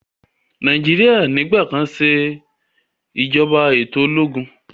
Nàìjíríà nigbakan se ìjọba eto ológun.